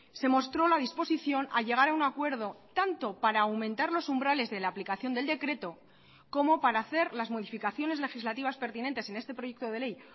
se mostró la disposición a llegar a un acuerdo tanto para aumentar los umbrales de la aplicación del decreto como para hacer las modificaciones legislativas pertinentes en este proyecto de ley